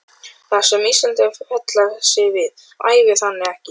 Það, sem Íslendingar fella sig við, hæfir þannig ekki